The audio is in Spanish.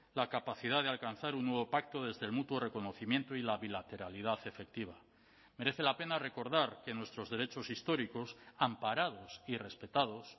la capacidad de alcanzar un nuevo pacto desde el mutuo reconocimiento y la bilateralidad efectiva merece la pena recordar que nuestros derechos históricos amparados y respetados